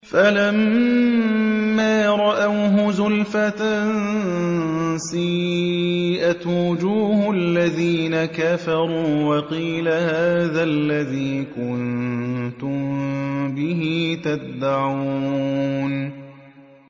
فَلَمَّا رَأَوْهُ زُلْفَةً سِيئَتْ وُجُوهُ الَّذِينَ كَفَرُوا وَقِيلَ هَٰذَا الَّذِي كُنتُم بِهِ تَدَّعُونَ